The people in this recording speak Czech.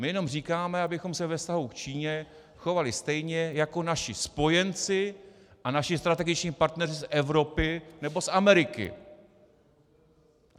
My jenom říkáme, abychom se ve vztahu k Číně chovali stejně jako naši spojenci a naši strategičtí partneři z Evropy nebo z Ameriky.